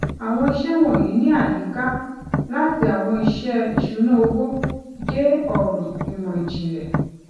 àwọn iṣẹ wọnyí ní àyíká láti àwọn iṣẹ ìṣúnná owó dé ọràn ìmọìjìnlẹ